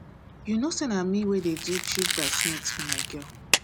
you know say na me wey me wey dey do chief brides maid for my girl